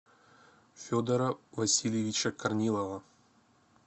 федора васильевича корнилова